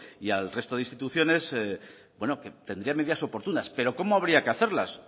y al resto de instituciones bueno que tendría medidas oportunas pero cómo habría que hacerlas